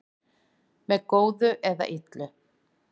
Með góðu eða illu